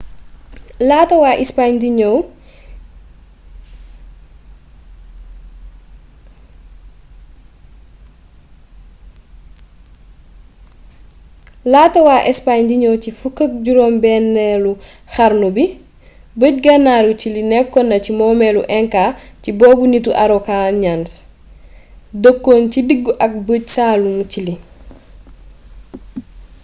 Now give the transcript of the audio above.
laata wa ispaañ di ñëw ci 16eelu xarnu bi bëj-gànnaaru ciili nekkonna ci momeelu inca si boobë nittu araucanians mapuche dëkkon ci diggu ak bëj-saalumu ciili